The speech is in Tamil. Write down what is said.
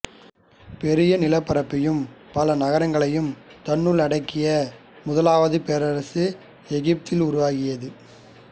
பெரிய நிலப்பரப்பையும் பல நகரங்களையும் தன்னுள் அடக்கிய முதலாவது பேரரசு எகிப்தில் உருவாகியது